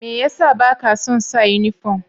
Mai ya sa ba ka son sa uniform?